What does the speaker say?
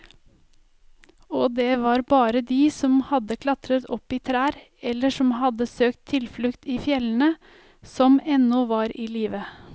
Og det var bare de som hadde klatret opp i trær eller som hadde søkt tilflukt i fjellene, som ennå var i live.